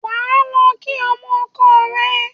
Ẁ á lọ kí ọmọ ọkọ ẹ